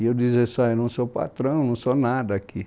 E eu dizia assim, ó eu não sou patrão, não sou nada aqui.